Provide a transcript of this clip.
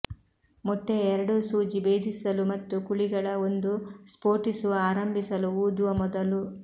ಮೊಟ್ಟೆಯ ಎರಡೂ ಸೂಜಿ ಭೇದಿಸಲು ಮತ್ತು ಕುಳಿಗಳ ಒಂದು ಸ್ಫೋಟಿಸುವ ಆರಂಭಿಸಲು ಊದುವ ಮೊದಲು